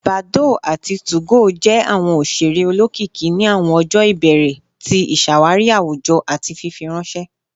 Badoo ati 2go jẹ awọn oṣere olokiki ni awọn ọjọ ibẹrẹ ti iṣawari awujọ ati fifiranṣẹ